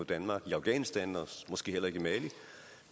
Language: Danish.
danmark i afghanistan og måske heller ikke i mali